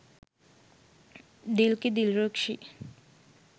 dilki dilrukshi